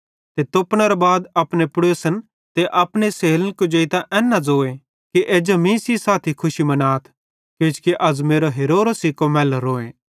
ते तोपनेरे बाद अपने पड़ोसन ते अपनी सेहेलन कुजेइतां एन न ज़ोए कि एज्जा मीं सेइं साथी खुशी मनाथ किजोकि अज़ मेरो हेरोरो सिको मैलोरोए